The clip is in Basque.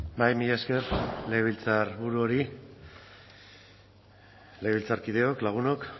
bai mila esker legebiltzarburu hori legebiltzarkideok lagunok